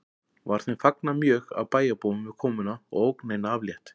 Var þeim fagnað mjög af bæjarbúum við komuna og ógninni aflétt